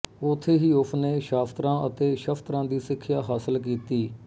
ਉਥੇ ਹੀ ਉਸਨੇ ਸ਼ਾਸਤਰਾਂ ਅਤੇ ਸ਼ਸਤਰਾਂ ਦੀ ਸਿੱਖਿਆ ਹਾਸਲ ਕੀਤੀ